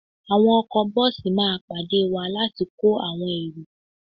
Àwọn ọkọ bọ́ọ̀sì máa pàdé wá láti kó àwọn èrò